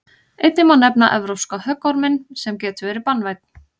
einnig má nefna evrópska höggorminn sem getur verið banvænn